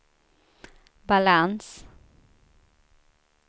balans